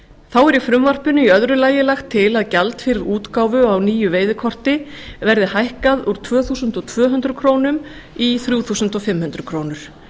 þá er í frumvarpinu í öðru lagi lagt til að gjald fyrir útgáfu á nýju veiðikorti verði hækkað úr tvö þúsund tvö hundruð krónur í þrjú þúsund fimm hundruð krónur